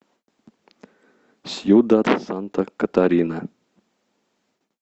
сьюдад санта катарина